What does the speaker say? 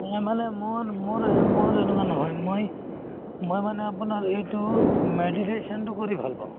মানে মোৰ মোৰ মোৰ এনেকুৱা নহয় মই মানে আপুনাৰ এইটো meditation তো কৰি ভাল পাও